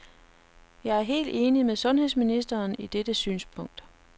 Jeg er helt enig med sundhedsministeren i dette synspunkt.